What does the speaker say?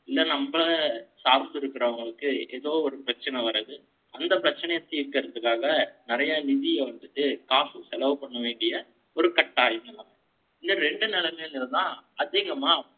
இல்லை, நம்ம சாத்திருக்கறவங்களுக்கு, ஏதோ ஒரு பிரச்சனை வர்றது. அந்தப் பிரச்சனையைத் தீர்க்கறதுக்காக, நிறையா நிதியை வந்துட்டு, காசு செலவு பண்ண வேண்டிய, ஒரு கட்தாயம் வரலாம். இந்த இரண்டு நிலைமைங்கறதுதான், அதிகமா